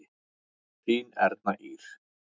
Þín Erna Ýr.